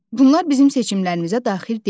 Bunlar bizim seçimlərimizə daxil deyil.